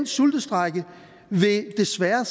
sultestrejke vil desværre